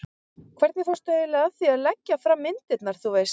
hvernig fórstu eiginlega að því að leggja fram myndirnar, þú veist.